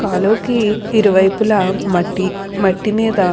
కాలువకి ఇరువైపులా మట్టి మట్టి మీద --